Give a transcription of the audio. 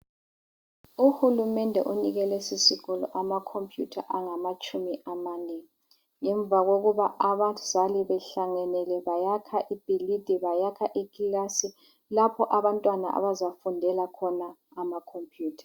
Uhulumende unike lesisikolo amakhompiyutha angamatshumi amane, ngemva kokuba abazali behlanganele bayakha ibhilidi, bayakha ikilasi lapha abantwana abazafundela khona amaKhompuyutha.